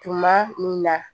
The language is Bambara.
Tuma min na